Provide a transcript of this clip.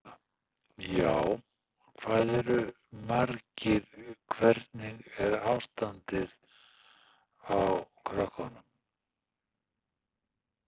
Sunna: Já, hvað eru margir, hvernig er ástandið á krökkunum?